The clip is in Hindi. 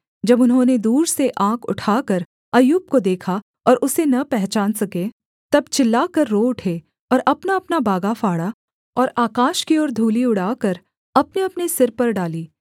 जब उन्होंने दूर से आँख उठाकर अय्यूब को देखा और उसे न पहचान सके तब चिल्लाकर रो उठे और अपनाअपना बागा फाड़ा और आकाश की और धूलि उड़ाकर अपनेअपने सिर पर डाली